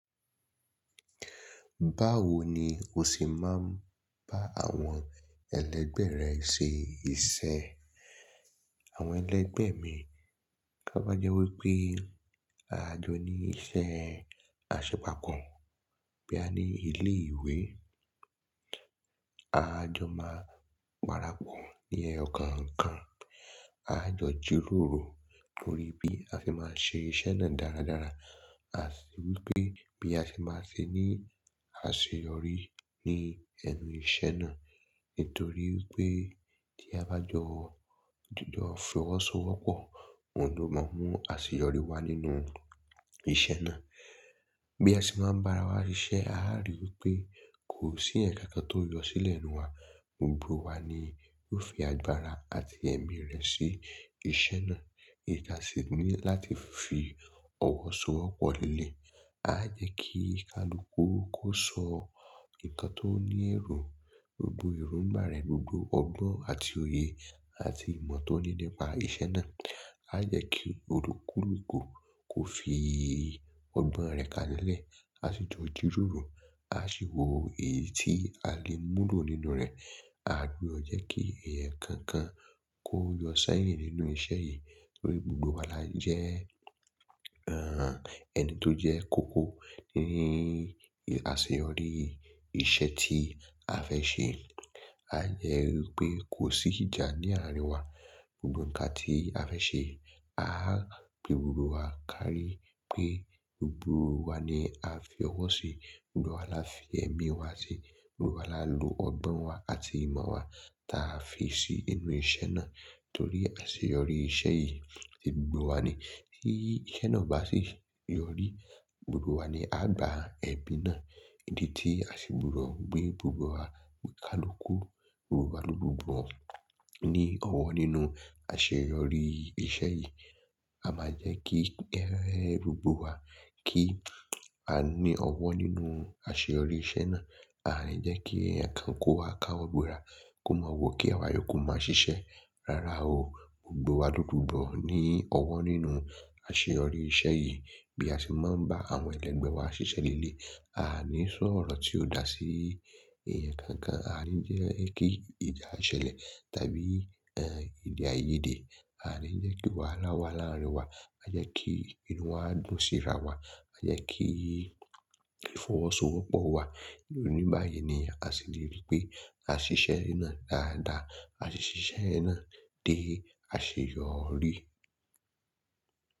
Báwo ni o ṣe máa ń bá àwọn ẹlẹgbẹ́ rẹ ṣe iṣẹ́? Àwọn ẹlẹgbẹ́ mi, ka bá jẹ́ wí pé àjọ ní iṣẹ́ àṣepà kàn, bóyá ní ilé-ìwé, a jọ máa pára pọ̀ ní ẹyọ kọ̀ọ̀kan aá jọ jíròrò lórí bí a ṣe máa ṣe iṣẹ́ náà dáradára. Àti wí pé bí a ṣe máa ṣe ní àṣeyọrí ní ẹnu iṣẹ́ náà. Nítorí wípé tí a bá jọ jìjọ fọwọ́sowọ́pọ̀, òun ló máa mú àṣeyọrí wá nínú iṣẹ́ náà. Bí a ṣe máa ń bá ara wa ṣiṣẹ́, a á rí i wípé kò sí èèyàn kankan tó yọ sílẹ̀ nínú wa. Gbogbo wa ni yóò fi agbára àti ẹ̀mí rẹ̀ sí iṣẹ́ náà. Ìdí tí a sì ní láti fi ọwọ́ sowọ́ pọ̀ leléyìí. A á jẹ́ kí kálukú kó sọ nǹkan tó ní èrò, gbogbo èróńgbà rẹ̀, gbogbo ọgbọ́n àti òye àti ìmọ̀ tó ní nípa iṣẹ́ náà. A á jẹ́ kí olúkúlùkù kó fi ọgbọ́n rẹ̀ kalẹ̀ 'lẹ̀, áá sì jọ jírórò. Àá sì wò èyí tí a lè múlò nínú rẹ̀. Aà gbudọ̀ jẹ́ kí èèyàn kankan kó yọ sẹ́yìn nínú iṣẹ́ yẹn torí gbogbo wa la jẹ́ ẹni tó jẹ́ kókó ní àṣeyọrí iṣẹ́ tí a fẹ́ ṣe. A dẹ̀ ri pé kò sí ìjà ní àárín wa. Gbogbo nǹkan tí a fẹ́ ṣe, a á pe gbogbo wa kárí pé gbogbo wa ni a fi ọwọ́ sí i. Gbogbo wa la fi ẹ̀mí wa sí i. Gbogbo wa la lo ọgbọ́n wa àti ìmọ̀ wa táa fi sí inú iṣẹ́ náà. Torí àṣeyọrí iṣẹ́ yìí, ti gbogbo wa ni. Tí iṣẹ́ náà ò bá sì yọrí, gbogbo wa ni aá gba ẹ̀bi náà. Ìdí tí a ṣe gbudọ̀ gbé gbogbo wa ní kálukú. Gbogbo wa ló gbọ́n ní ọwọ́ nínú àṣeyọrí iṣẹ́ yìí. A máa jẹ́ kí ẹgbẹ́ gbogbo wa kí a ní ọwọ́ nínú àṣeyọrí iṣẹ́ náà. A à ní jẹ́ kí èèyàn kan kó wá káwọ́ gbéra kó máa wò kí àwa yòókù máa ṣiṣẹ́. Rárá o, gbogbo wa lo gbudọ̀ ní ọwọ́ nínú àṣeyọrí iṣẹ́ yìí. Bí a ṣe máa ń bá àwọn ẹlẹgbẹ́ wa ṣiṣẹ́ leléyìí, a à ní sọ̀rọ̀ tí ò dáa sí èèyàn kankan. A à ní jẹ́ kí ìjà ṣẹlẹ̀ tàbí èdè àìyedè a à ní jẹ́ kí wàhálà wà láàárín wa. Àá jẹ́ kí inú wa dùn síra wa. A jẹ́ kí fọwọ́sowọ́pọ̀ wa. Ní báyìí ni a ṣe lè rí pé a ṣiṣẹ́ náà dáadáa. A sì ṣiṣẹ́ yẹn náà dé àṣeyọrí.